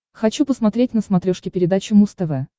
хочу посмотреть на смотрешке передачу муз тв